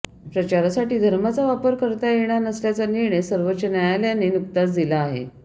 प्रचारासाठी धर्माचा वापर करता येणार नसल्याचा निर्णय सर्वोच्च न्यायालयाने नुकताच दिला आहे